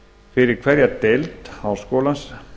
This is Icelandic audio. fyrir hverja deild háskólans